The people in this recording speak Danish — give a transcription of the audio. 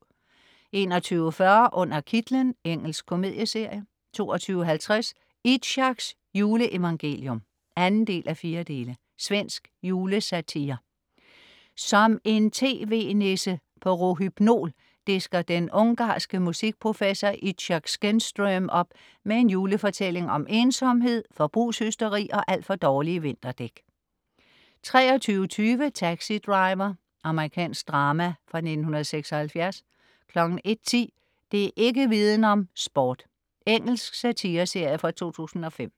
21.40 Under kitlen. Engelsk komedieserie 22.50 Itzhaks juleevangelium (2:4). Svensk julesatire. Som en tv-nisse på rohypnol disker den ungarske musikprofessor Itzhak Skenström op med en julefortælling om ensomhed, forbrugshysteri og alt for dårlige vinterdæk 23.20 Taxi Driver. Amerikansk drama fra 1976 01.10 Det' ikk' Viden om: Sport. Engelsk satireserie fra 2005